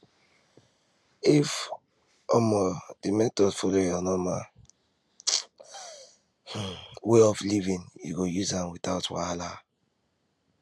if um the method follow your normal um way of living you go use am without wahala